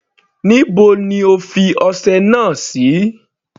Níbo ni O fi ọsẹ náà sí.